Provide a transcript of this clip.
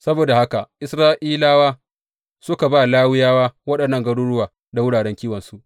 Saboda haka Isra’ilawa suka ba Lawiyawa waɗannan garuruwa da wuraren kiwonsu.